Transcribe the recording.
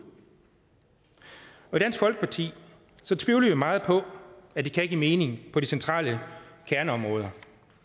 og i dansk folkeparti tvivler vi meget på at det kan give mening på de centrale kerneområder